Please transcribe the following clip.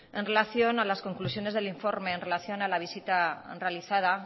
en relación a las conclusiones del informe en relación a la visita realizada